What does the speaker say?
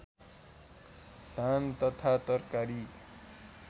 धान तथा तरकारी